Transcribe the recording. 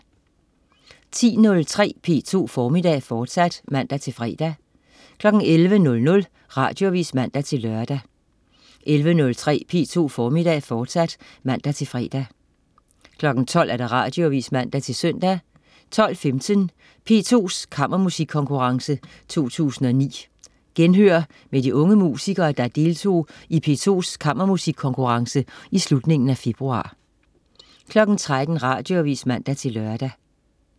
10.03 P2 Formiddag, fortsat (man-fre) 11.00 Radioavis (man-lør) 11.03 P2 Formiddag, fortsat (man-fre) 12.00 Radioavis (man-søn) 12.15 P2s Kammermusikkonkurrence 2009. Genhør med de unge musikere, der deltog i P2s Kammermusikkonkurrence i slutningen af februar 13.00 Radioavis (man-lør)